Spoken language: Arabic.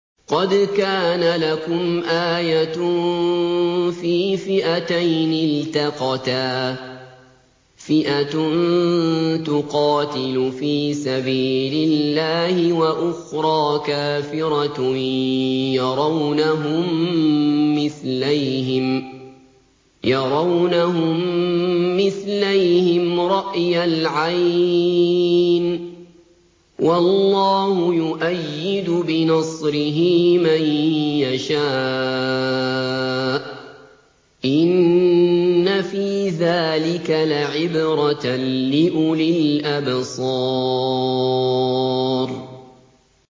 قَدْ كَانَ لَكُمْ آيَةٌ فِي فِئَتَيْنِ الْتَقَتَا ۖ فِئَةٌ تُقَاتِلُ فِي سَبِيلِ اللَّهِ وَأُخْرَىٰ كَافِرَةٌ يَرَوْنَهُم مِّثْلَيْهِمْ رَأْيَ الْعَيْنِ ۚ وَاللَّهُ يُؤَيِّدُ بِنَصْرِهِ مَن يَشَاءُ ۗ إِنَّ فِي ذَٰلِكَ لَعِبْرَةً لِّأُولِي الْأَبْصَارِ